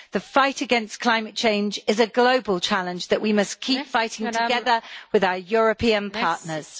The fight against climate change is a global challenge that we must keep fighting together with our European partners.